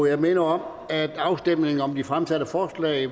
jeg minder om at afstemning om de fremsatte forslag